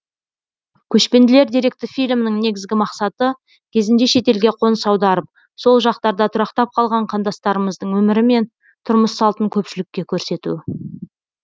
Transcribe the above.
көшпенділер деректі фильмінің негізгі мақсаты кезінде шетелге қоныс аударып сол жақтарда тұрақтап қалған қандастарымыздың өмірі мен тұрмыс салтын көпшілікке көрсету